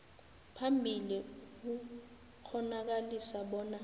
phambili ukukghonakalisa bona